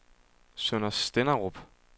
Sønder Stenderup